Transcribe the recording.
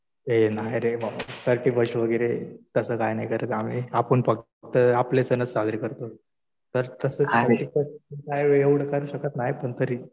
ए नाही रे बाबा. थर्टी फर्स्ट वगैरे तसं काही नाही करत आम्ही. आपण फक्त आपले सणच साजरे करतो.